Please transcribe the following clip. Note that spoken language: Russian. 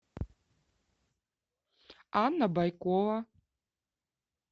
анна байкова